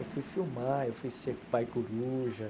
Eu fui filmar, eu fui ser pai coruja.